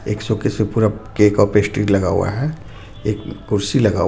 एक शोकेस में पूरा केक और पेस्ट्री लगा हुआ है एक कुर्सी लगा हुआ.